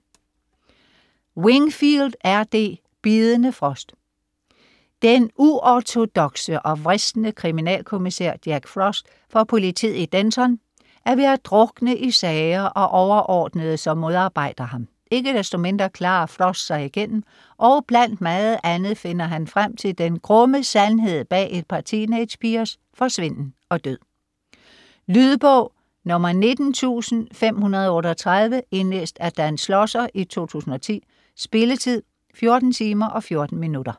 Wingfield, R. D.: Bidende frost Den uortodokse og vrisne kriminalkommissær Jack Frost fra politiet i Denton er ved at drukne i sager og overordnede, som modarbejder ham. Ikke desto mindre klarer Frost sig igennem, og blandt meget andet finder han frem til den grumme sandhed bag et par teenagepigers forsvinden og død. Lydbog 19538 Indlæst af Dan Schlosser, 2010. Spilletid: 14 timer, 14 minutter.